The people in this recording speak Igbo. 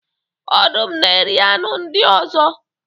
Ọdụm na-eri anụ ndị ọzọ.